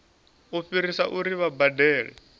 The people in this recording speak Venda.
u fhirisa uri vha badele